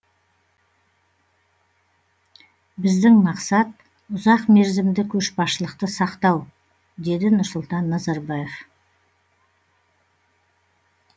біздің мақсат ұзақмерзімді көшбасшылықты сақтау деді нұрсұлтан назарбаев